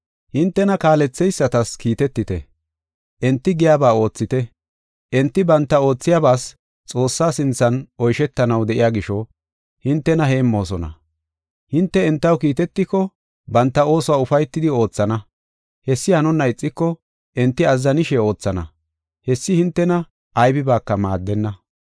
Hintena kaaletheysatas kiitetite; enti giyaba oothite. Enti banta oothiyabas Xoossaa sinthan oyshetanaw de7iya gisho, hintena heemmoosona. Hinte entaw kiitetiko, banta oosuwa ufaytidi oothana; hessi hanonna ixiko, enti azzanishe oothana; hessi hintena aybibaaka maaddenna.